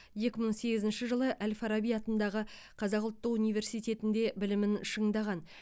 екі мың сегізінші жылы әл фараби атындағы қазақ ұлттық университетінде білімін шыңдаған